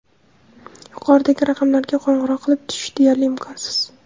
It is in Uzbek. Yuqoridagi raqamlarga qo‘ng‘iroq qilib tushish deyarli imkonsiz.